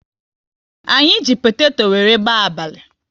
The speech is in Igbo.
Anyị ji potato wéré gbaa abalị